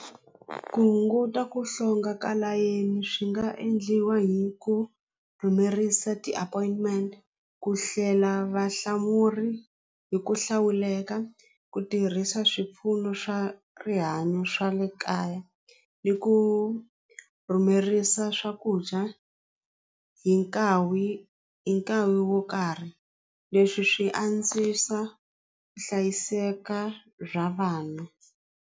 Ku hunguta ku hlonga ka layeni swi nga endliwa hi ku rhumerisa ti-appointment ku hlela vahlamuri hi ku hlawuleka ku tirhisa swipfuno swa rihanyo swa le kaya ni ku rhumerisa swakudya hi i nkarhi wo karhi leswi swi antswisa hlayiseka bya vanhu.